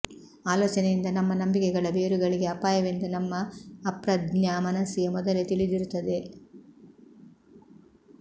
ಆಲೋಚನೆಯಿಂದ ನಮ್ಮ ನಂಬಿಕೆಗಳ ಬೇರುಗಳಿಗೆ ಅಪಾಯವೆಂದು ನಮ್ಮ ಅಪ್ರಜ್ಞಾ ಮನಸ್ಸಿಗೆ ಮೊದಲೇ ತಿಳಿದಿರುತ್ತದೆ